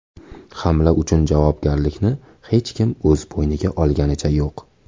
Hamla uchun javobgarlikni hech kim o‘z bo‘yniga olganicha yo‘q.